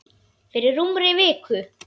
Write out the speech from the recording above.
Fyrir rúmri viku.